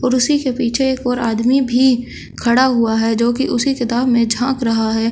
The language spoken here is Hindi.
उसी के पीछे एक और आदमी भी खड़ा हुआ है जो कि उसी किताब में झांक रहा है।